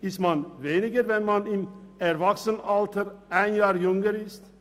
Isst man weniger, wenn man im Erwachsenenalter ein Jahr jünger ist?